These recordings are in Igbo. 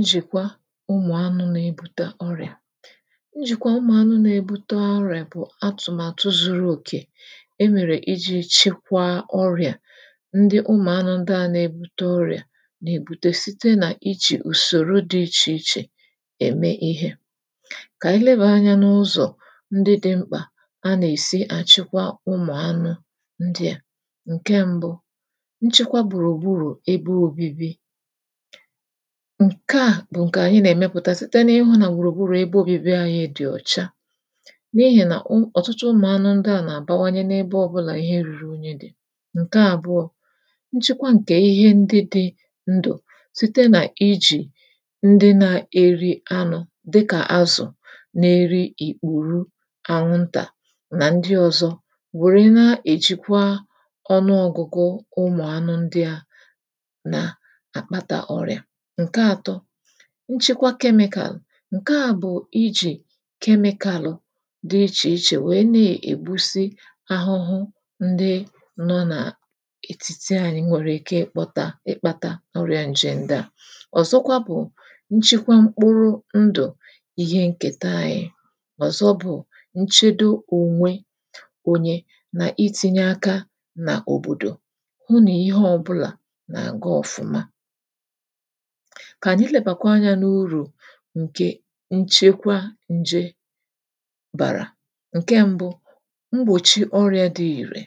Njìkwa ụmụ̀anụ̄ na-ebuta ọrị̀à njìkwa ụmụ̀anụ na-ebuta ọrị̀à bụ̀ atụ̀màtụ zuru òkè e mèrè ijī chikwa ọrị̀à ndị ụmụ̀anụ ndị à na-ebute ọrị̀à nà-èbute site nà ijì ùsòro dị ichè chè ème ihē kà ànyị lebàa anyā n’ụzọ̀ ndị dị mkpà anà-èsi àchịkwa ụmụ̀anụ ndị à ǹke mbụ nchịkwa gbùrù gburù ebe obibi ǹkè a bụ̀ ǹkè ànyị nà-èmepụ̀ta site n’ịhụ̄ nà gbùrù gburù ebe obibi anyị dị̀ ọ̀cha n’ihì nà u ọ̀tụtụ ụmụ̀anụ ndị à nà-àbawanye n’ebe ọbụlà ihe ruru unyi dị̀ ǹke àbụọ̄ nchekwa ǹkè ihe ndị dị ndụ̀ site nà ijì ndị na-eri anụ̄ dịkà azụ̀ na-eri ìkpùru anwụntà nà ndị ọzọ wère na-èchikwa ọnụọgụgụ ụmụ̀anụ ndị à nà àkpata ọrị̀à ǹke atọ nchikwa chemical ǹke à bụ̀ ijī chemical dị ichè ichè wèe na-ègbusị ahụhụ ndị nọ nà ètitī anyị nwèrè ike ịkpọ̄ta ịkpāta ọrị̄a ǹje ndị à ọ̀zọkwa bụ̀ nchịkwa mkpụrụ ndụ ihe nkèta ayị ọ̀zọ bụ̀ nchedo ònwe onye nà itīnye aka nà òbòdò hụ nà ihe ọbụlà nà-àga ọfụma kà ànyị lebàa anyā n’urù ǹkè nchekwa ǹje bàrà ǹke mbụ mgbòchi ọrị̄a dị ìrẹ̀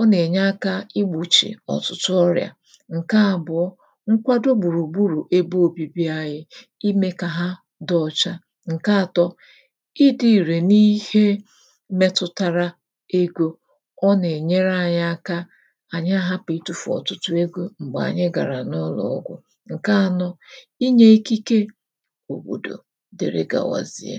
ọ nà-ènye akā igbòchì ọ̀tụtụ ọrị̀à ǹke àbụ̀ọ nkwado gbùrù gburù ebe obibi ayị̄ imē ka hà dị ọcha ǹke atọ ịdị̄ ìrẹ̀ n’ihe metụtara egō ọ nà-ènyere ayị aka ànyị àhapụ̀ ịtụ̄fù ọ̀tụtụ egō m̀gbè ànyị gàrà n’ụlọ̀ ọgwụ̀, ǹke anọ inyē ikike òbòdò dịri gawazie